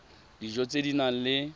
dijo tse di nang le